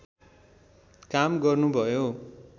काम गर्नुभयो